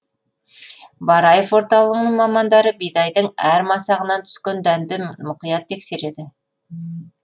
бараев орталығының мамандары бидайдың әр масағынан түскен дәнді мұқият тексереді